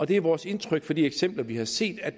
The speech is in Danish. det er vores indtryk fra de eksempler vi har set at